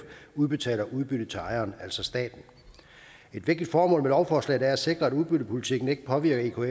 udbetaler udbytte til ejeren altså staten et vigtigt formål med lovforslaget er at sikre at udbyttepolitikken ikke påvirker